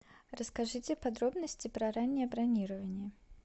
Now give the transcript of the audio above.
расскажите подробности про раннее бронирование